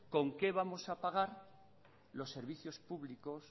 con qué vamos a pagar los servicios públicos